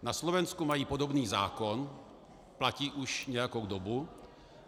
Na Slovensku mají podobný zákon, platí už nějakou dobu.